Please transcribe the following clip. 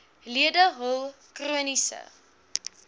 lede hul chroniese